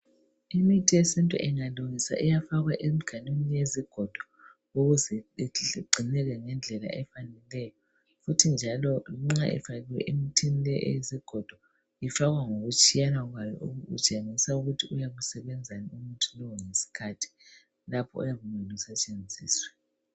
Imithi yesintu ingalungiswa iyafakwa emiganwini yezigodo ukuze igcineke ngendlela efaneleyo. Kuthi njalo nxa ifakiwe emithini leyi eyezigodo ifakwa ngokutshiyana kwawo kutshengisa ukuthi uyabe usebenzani umuthi lowu ngesikhathi lapho oyabe kumele usetshenziswe.